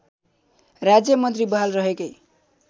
राज्यमन्त्री बहाल रहेकै